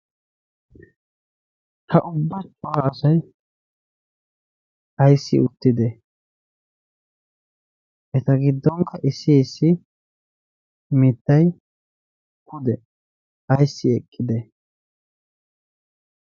Ha ubbachchu aasay ayssi uttida eta giddonkka issi issi mittay hude ayssi eqqida.